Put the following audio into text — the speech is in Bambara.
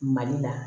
Mali la